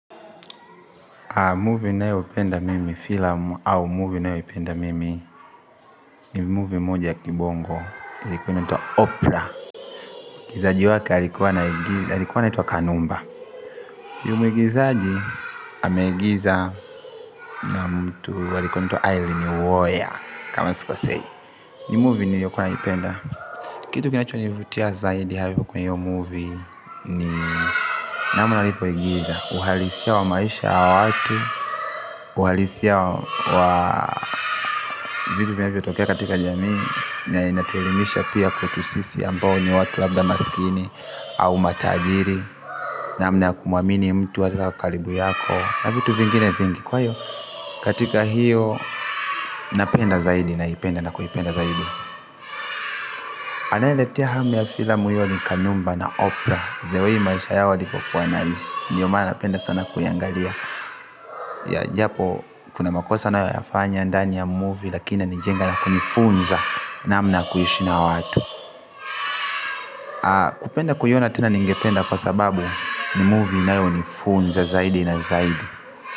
Movie ninayopenda mimi filamu au movie ninayoipenda mimi ni movie moja ya kibongo ilikuwa inaitwa oprah muigizaji wake alikuwa anaitwa kanumba huyu muigizaji ameigiza na mtu alikuwa anaitwa irene woya kama sikosei ni movie niliyokuwa naipenda kitu kinachonivutia zaidi kwa hiyo movie ni namna walivyoigiza uhalisia wa maisha ya watu uhalisia wa vitu vinavyotokea katika jamii na inatuelimisha pia kwetu sisi ambao ni watu labda maskini au matajiri namna ya kumwamini mtu hasa wa karibu yako na vitu vingine vingi kwa hiyo katika hiyo napenda zaidi naipenda na kuipenda zaidi anayeniletea hamu ya filamu hiyo ni kanumba na opra the way maisha yao walipokuwa wanaishi ndiyo maana napenda sana kuiangalia ya japo kuna makosa wanayoyafanya ndani ya movie lakini inanijenga na kunifunza namna kuishi na watu kupenda kuiona tena ningependa kwa sababu ni movie inayonifunza zaidi na zaidi.